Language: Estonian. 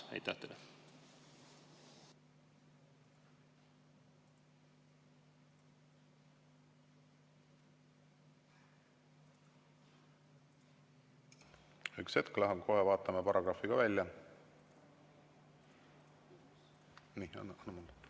Üks hetk läheb, kohe paragrahvi välja.